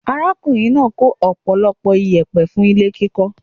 Arákùnrin náà kó ọ̀pọ̀lọpọ̀ iyẹ̀pẹ̀ fún ilé kíkọ́ rẹ̀.